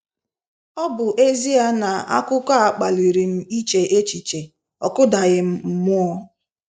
Ọ bụ ezie na akụkọ a kpaliri m iche echiche, ọ kụdaghị m mmụọ.